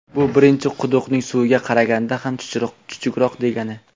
Bu birinchi quduqning suviga qaraganda ham chuchukroq degani.